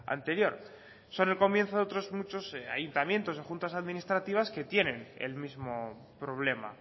anterior son el comienzo de otros muchos ayuntamientos o juntas administrativas que tienen el mismo problema